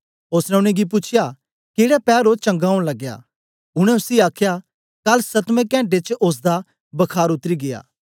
ओसने उनेंगी पूछ्या केड़े पैर ओ चंगा ओंन लगया उनै उसी आखया कल सतमें घंटे च ओसदा बखार उतरी गीया